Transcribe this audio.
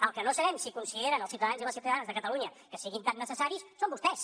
el que no sabem si consideren els ciutadans i les ciutadanes de catalunya que siguin tan necessaris són vostès